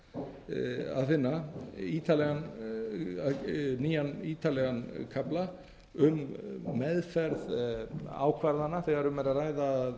er jafnframt að finna nýjan ítarlegan kafla um meðferð ákvarðana þegar um er að ræða að